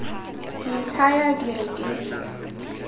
ke ithaya ke re ke